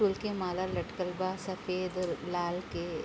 फूल के माला लटकल बा सफ़ेद और लाल के।